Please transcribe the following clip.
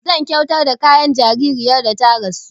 Zan kyautar da kayan jaririyar da ta rasu